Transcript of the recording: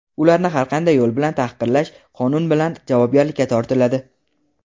ularni har qanday yo‘l bilan tahqirlash qonun bilan javobgarlikka tortiladi.